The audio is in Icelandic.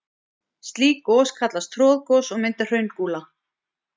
Slík gos kallast troðgos og mynda hraungúla.